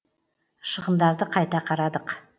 шығындарды қайта қарадық